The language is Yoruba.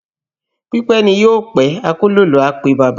Pípẹ́ ni yóò pẹ́, akólòlò á pe baba